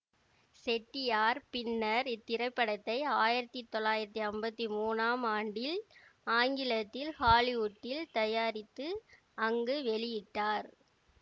செட்டியார் பின்னர் இத்திரைப்படத்தை ஆயிரத்தி தொள்ளாயிரத்தி அம்பத்தி மூனாம் ஆண்டில் ஆங்கிலத்தில் ஹாலிவுட்டில் தயாரித்து அங்கு வெளியிட்டார்